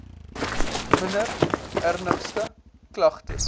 minder ernstige klagtes